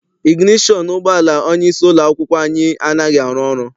Iginetọn ụgbọala onyeisi ụlọ akwụkwọ anyị anaghị arụ ọrụ.